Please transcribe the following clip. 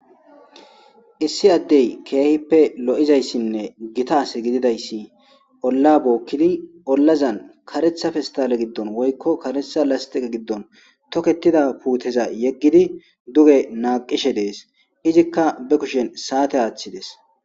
Issi addey keehippe lo'izayssinne gitaas gididayssi olla bookkidi ollazan karetha festale giddon woykko karetha lastiqe giddon toketida puuteza yeggidi duge naaqishe dees izikka be kushen saate aaththides.